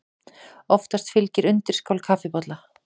Oftast fylgir undirskál kaffibolla.